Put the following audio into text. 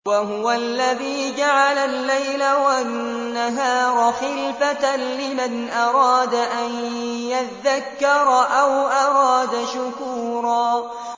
وَهُوَ الَّذِي جَعَلَ اللَّيْلَ وَالنَّهَارَ خِلْفَةً لِّمَنْ أَرَادَ أَن يَذَّكَّرَ أَوْ أَرَادَ شُكُورًا